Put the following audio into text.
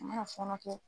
A mana fɔɔnɔ kɛ